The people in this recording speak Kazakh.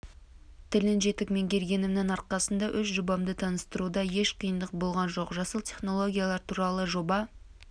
тілін жетік меңгергенімнің арқасында өз жобамды таныстыруда еш қиындық болған жоқ жасыл технологиялар туралы жоба